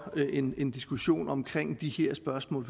en diskussion omkring de her spørgsmål